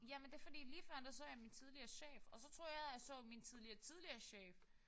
Jamen det er fordi lige før der så jeg min tidligere chef og så troede jeg jeg så min tidligere tidligere chef